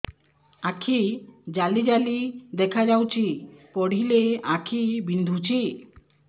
ଆଖି ଜାଲି ଜାଲି ଦେଖାଯାଉଛି ପଢିଲେ ଆଖି ବିନ୍ଧୁଛି